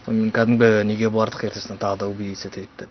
сонымен кәдімгі неге бардық ертесінде тағы убедиться етейік деп